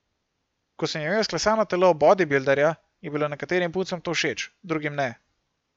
Ko sem imel izklesano telo bodibilderja, je bilo nekaterim puncam to všeč, drugim ne.